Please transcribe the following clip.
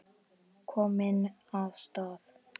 Kominn af stað.